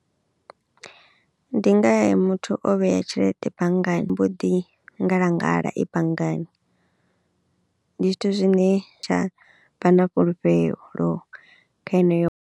Ndi muthu o vhea tshelede banngani i mbo ḓi ngalangala i banngani ndi zwithu zwine tsha vha na fhulufhelo kha heneyo.